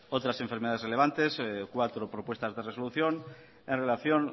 otras enfermedades relevantes cuatro propuestas de resolución en relación